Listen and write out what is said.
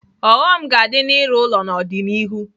Ọghọm ga-adị n'ịrụ ụlọ n'ọdịnihu.